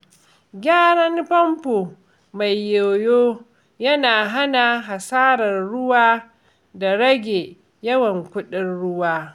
Gyara famfo mai yoyo yana hana hasarar ruwa da rage yawan kuɗin ruwa.